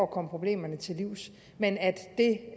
komme problemerne til livs men at det